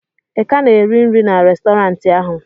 ị ka na-eri nri na Restọrantị ahụ?